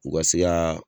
U ka se ka